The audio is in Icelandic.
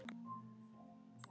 Er ég nóg!